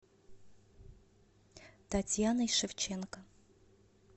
татьяной шевченко